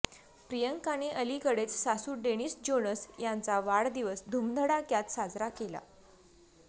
प्रियांकाने अलिकडेच सासू Denise Jonas यांचा वाढदिवस धुमधडाक्यात साजरा केला